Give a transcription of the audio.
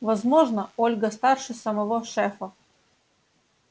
возможно ольга старше самого шефа